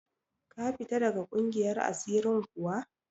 Ka fita daga ƙungiyar asirin kuwa?